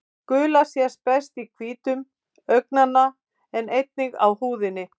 Gula sést best í hvítum augnanna en einnig á húðinni.